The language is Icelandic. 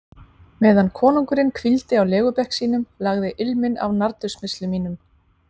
Meðan konungurinn hvíldi á legubekk sínum, lagði ilminn af nardussmyrslum mínum.